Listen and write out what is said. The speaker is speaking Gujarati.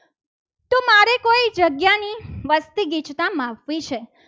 વસ્તી ગીચતા માપવી છે.